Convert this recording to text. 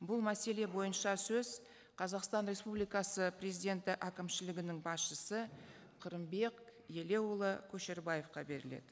бұл мәселе бойынша сөз қазақстан республикасы президенті әкімшілігінің басшысы қырымбек елеуұлы көшербаевқа беріледі